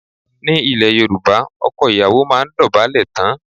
Ní ile Yorùbá, ọkọ ìyàwó máa ń dobale tán.